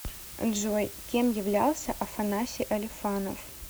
джой кем являлся афанасий алифанов